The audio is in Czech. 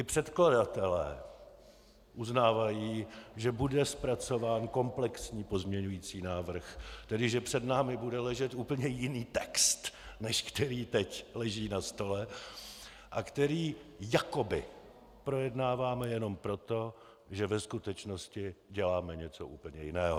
I předkladatelé uznávají, že bude zpracován komplexní pozměňovací návrh, tedy že před námi bude ležet úplně jiný text, než který teď leží na stole a který jakoby projednáváme jenom proto, že ve skutečnosti děláme něco úplně jiného.